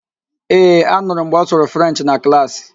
Ee, anụrụ m mgbe ọ sụrụ Frenchị na klaasị.